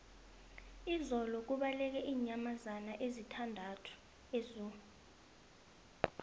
izolo kubaleke iinyamazana ezisithandathu ezoo